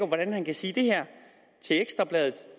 hvordan han kan sige det her til ekstra bladet